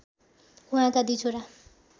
उहाँका दुई छोरा